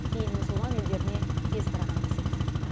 кейін бүкіл мұсылман елдеріне тез тараған деседі